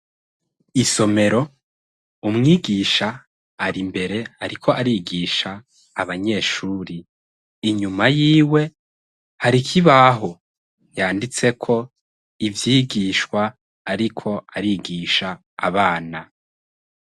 Isomero, umwigisha ar'imbere ariko arigisha abanyeshuri. Inyuma yiwe hari ikibaho yanditseko ivyigishwa ariko arigisha abana.